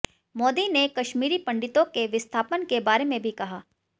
मोदी ने कश्मीरी पंडितों के विस्थापन के बारे में भी कहा